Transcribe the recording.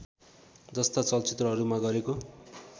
जस्ता चलचित्रहरूमा गरेको